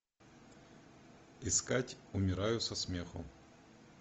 искать умираю со смеху